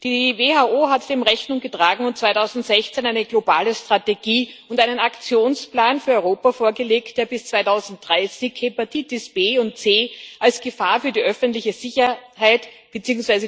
Die WHO hat dem Rechnung getragen und 2016 eine globale Strategie und einen Aktionsplan für Europa vorgelegt, der bis 2030 Hepatitis B und C als Gefahr für die öffentliche Sicherheit bzw.